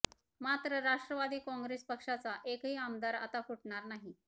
मात्र राष्ट्रवादी काँग्रेस पक्षाचा एकही आमदार आता फुटणार नाही